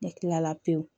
Ne kilala pewu